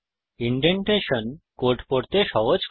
indentation code পড়তে সহজ করে